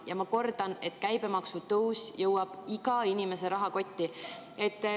Ja ma kordan, et käibemaksu tõus jõuab iga inimese rahakotti.